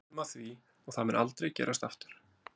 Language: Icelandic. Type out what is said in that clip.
Við lærðum af því og það mun aldrei gerast aftur.